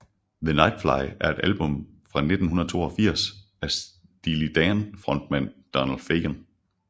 The Nightfly er et album fra 1982 af Steely Dan frontmanden Donald Fagen